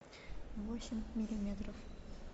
восемь миллиметров